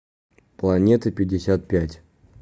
планетапятьдесятпять